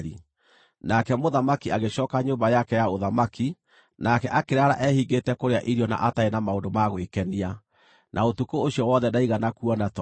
Nake Mũthamaki agĩcooka nyũmba yake ya ũthamaki, nake akĩraara ehingĩte kũrĩa irio na atarĩ na maũndũ ma gwĩkenia. Na ũtukũ ũcio wothe ndaigana kuona toro.